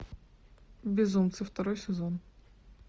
безумцы второй сезон